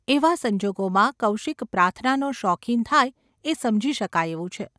એવા સંજોગોમાં કૌશિક પ્રાર્થનાનો શોખીન થાય એ સમજી શકાય એવું છે.